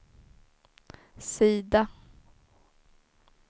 sida